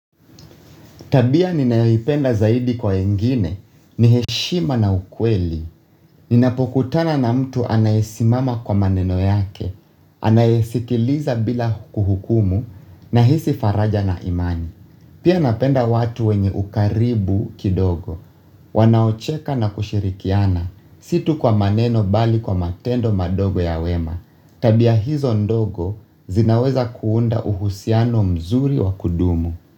Tabia ninayoipenda zaidi kwa wengine, ni heshima na ukweli, ninapokutana na mtu anayesimama kwa maneno yake, anayesikiliza bila kuhukumu, nahisi faraja na imani. Pia napenda watu wenye ukaribu kidogo, wanaocheka na kushirikiana, si tu kwa maneno bali kwa matendo madogo ya wema, tabia hizo ndogo zinaweza kuunda uhusiano mzuri wa kudumu.